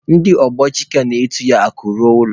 Ndị ogbe Chike na-etu ya Akụ ruo ụlọ.